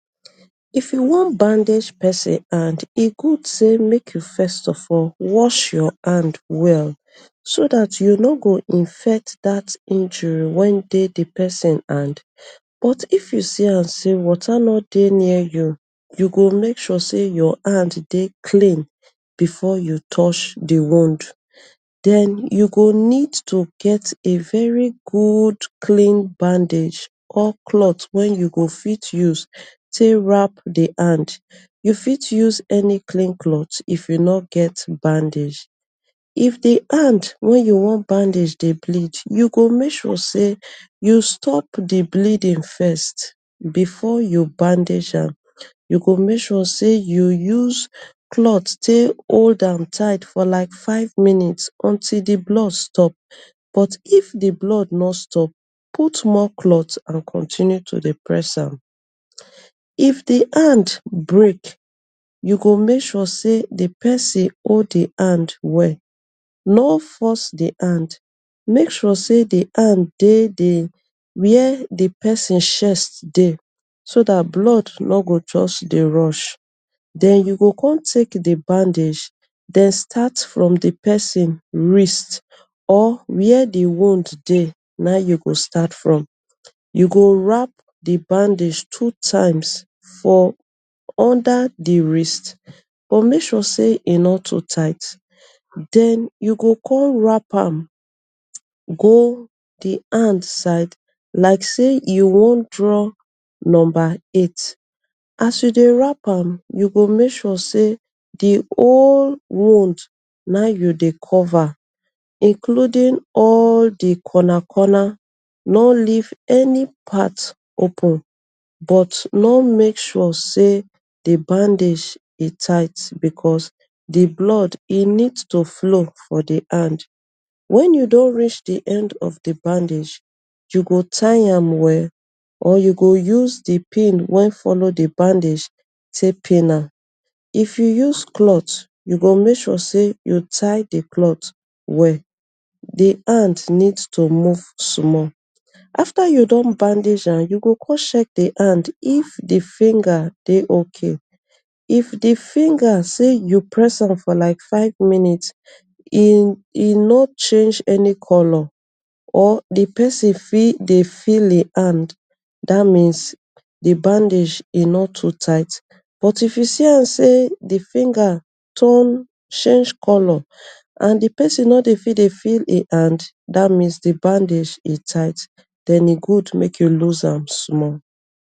If you wan bandage persin hand e good sey make u first of all wash your hand well so dat u no go infect dat injury wey dey d persin hand but if u see am sey water no dey near you u go make sure sey your hand dey clean before u touch d wound then u go need to get a very clean bandage or cloth wey u go fit use take wrap d hand, u fit use any clean cloth if u no get bandage, if d hand wey u wan bandage dey bleed u go make sure sey u stop d bleeding first, before u bandage am u go make sure say u use cloth take hold am tight for like five minutes until d blood stop, but if d blood no stop put small cloth and continue to dey press am, if d hand break, u go make sure d persin hold d hand well, no force d hand make sure sey d hand dey d where d persin chest dey so dat blood no go just dey rush, den u go con take d bandage den start from d persin wrist or where d wound dey naim you go start from, u go warp d bandage two times for under d wrist but make sure sey e no too tight, den u go con wrap am go d hand side like sey e wan draw number eight, as u dey wrap am u go make sure sey d whole wound nah in u dey cover including all d corner corner no leave any part open but no make sure sey d bandage e tight because d blood e need to flow for d hand, wen u don reach d end of d bandage u go tie am well or u go use d pin wey follow d bandage take pin ma, if u use cloth u go make sure sey u tie d cloth well, d hand need to move small, afta u don bandage am u go con check the hand if d finger dey okay, if d finger sey u press am for five minutes, e e no change any colour or d persin fit dey feel hin hand, dat means d bandage e no too tight but if u see am sey d finger turn change colour and d persin no dey fit dey feel hin hand dat means sey d bandage dey tight then e good make u loose am small.